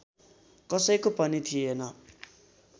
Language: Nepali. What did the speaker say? कसैको पनि थिएन